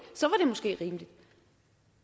måske rimeligt